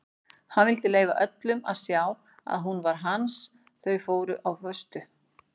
Hann vildi leyfa öllum að sjá að hún var hans þau voru á föstu.